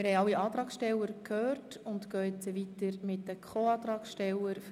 Wir haben alle Antragsteller gehört und fahren mit den Co-Antragstellern weiter.